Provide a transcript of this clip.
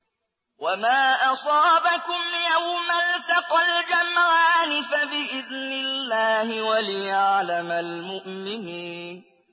وَمَا أَصَابَكُمْ يَوْمَ الْتَقَى الْجَمْعَانِ فَبِإِذْنِ اللَّهِ وَلِيَعْلَمَ الْمُؤْمِنِينَ